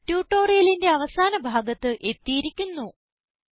ഇതോടെ ട്യൂട്ടോറിയലിന്റെ അവസാന ഭാഗത്ത് എത്തിയിരിക്കുന്നു